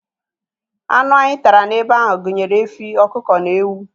Anụ anyị tara n'ebe ahụ gụnyere efi, ọkụkọ na ewu.